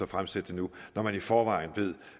fremsætte det nu når man i forvejen ved